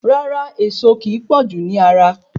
Rárá, Ẹ̀ẹ̀so ki pọ̀jú ni ara